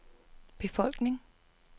befolkning